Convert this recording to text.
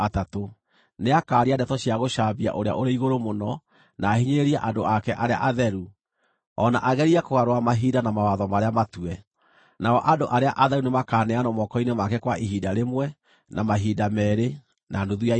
Nĩakaaria ndeto cia gũcambia Ũrĩa-ũrĩ-Igũrũ-Mũno, na ahinyĩrĩrie andũ ake arĩa atheru, o na agerie kũgarũra mahinda na mawatho marĩa matue. Nao andũ arĩa atheru nĩmakaneanwo moko-inĩ make kwa ihinda rĩmwe, na mahinda meerĩ, na nuthu ya ihinda.